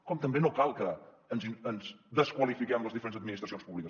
com també no cal que ens desqualifiquem les diferents administracions públiques